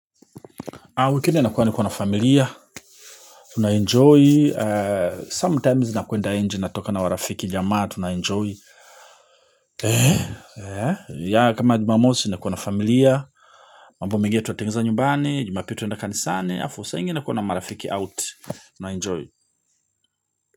Wikendi nakuwa niko na familia, tuna enjoy, sometimes nakuenda nje natoka na marafiki jamaa, tuna enjoy yeah kama jumamosi nakuwa na familia, mambo mengine tunatengeneza nyumbani, jumapili tunaenda kanisani, alafu saa ingine kuna marafiki out, tuna enjoy.